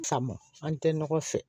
Faamu an tɛ ɲɔgɔn fɛ